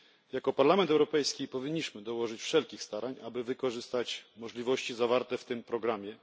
Jako Parlament Europejski powinniśmy dołożyć wszelkich starań, aby wykorzystać możliwości zawarte w tym programie.